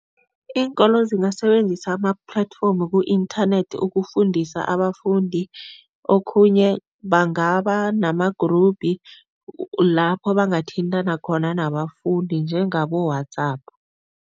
Iinkolo zingasebenzisa ama-platform ku-inthanethi ukufundisa abafundi. Okhunye bangaba nama-group lapho bangathintana khona nabafundi njengabo-WhatsApp.